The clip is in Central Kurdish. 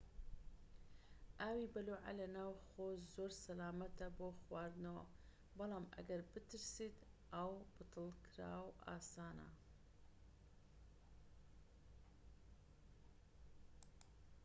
ئاوی بەلوعە لە ناوخۆ زۆر سەلامەتە بۆ خواردنەوە بەڵام ئەگەر بترسیت ئاوی بتڵکراو ئاسانە